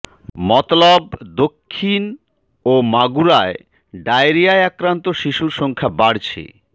মতলব দক্ষিণ ও মাগুরায় ডায়রিয়ায় আক্রান্ত শিশুর সংখ্যা বাড়ছে